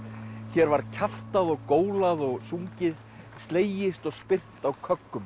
hér var kjaftað og gólað og sungið slegist og spyrnt á